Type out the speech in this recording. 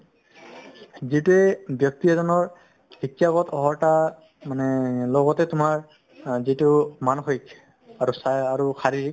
যিটোয়ে ব্যক্তি এজনৰ শিক্ষাগত অৰ্হতা মানে লগতে তোমাৰ অ যিটো মানসিক আৰু চাই আৰু শাৰীৰিক